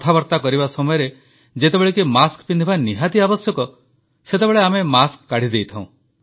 କଥାବାର୍ତ୍ତା କରିବା ସମୟରେ ଯେତେବେଳେ କି ମାସ୍କ ପିନ୍ଧିବା ନିହାତି ଆବଶ୍ୟକ ସେତେବେଳେ ଆମେ ମାସ୍କ କାଢ଼ିଦେଇଥାଉ